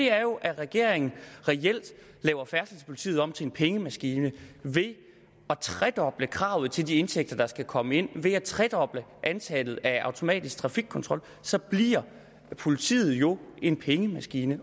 er jo at regeringen reelt laver færdselspolitiet om til en pengemaskine ved at tredoble kravet til de indtægter der skal komme ind ved at tredoble antallet af automatisk trafikkontrol så bliver politiet jo en pengemaskine